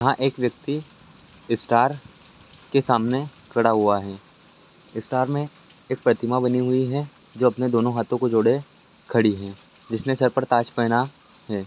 वहां एक व्यक्ति स्टार के सामने खड़ा हुआ है स्टार में एक प्रतिमा बनी हुई है जो अपने दोनों हाथों को जोड़े खड़ी है जिसने सर पर ताज पहना है।